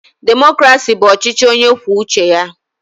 Demokrasi bụ ọchịchị onye kwuo uche ya.